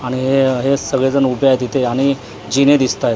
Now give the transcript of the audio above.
आणि हे हे सगळे जण उभे आहेत इथे आणि जिने दिसताएत.